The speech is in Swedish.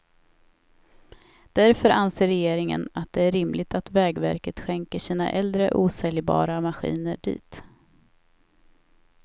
Därför anser regeringen att det är rimligt att vägverket skänker sina äldre osäljbara maskiner dit.